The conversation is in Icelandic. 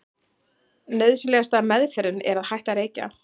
nauðsynlegasta „meðferðin“ er að hætta að reykja